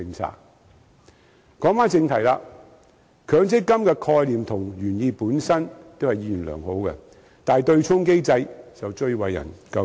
說回正題，強積金的概念和原意都是意願良好的，但其對沖機制則最為人詬病。